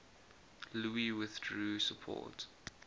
louis withdrew support